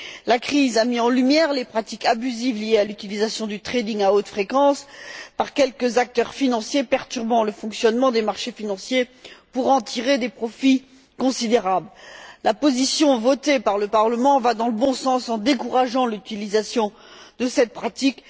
La crise a mis en lumière les pratiques abusives liées à l'utilisation du trading à haute fréquence par quelques acteurs financiers perturbant le fonctionnement des marchés financiers pour en tirer des profits considérables. La position, votée par le Parlement, va dans le bon sens, en décourageant l'utilisation de cette pratique